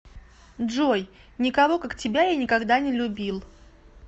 джой никого как тебя я никогда не любил